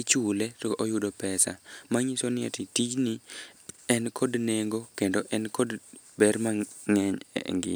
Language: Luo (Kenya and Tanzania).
ichule, to oyudo pesa. Manyiso ni ati tijni en kod nengo kendo en kod ber mang'eny e ngima.